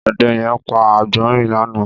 Ọdẹ̀ yẹ̀n pà agbọrin lànã